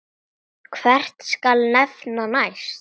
Hvern skal nefna næst?